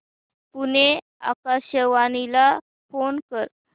पुणे आकाशवाणीला फोन कर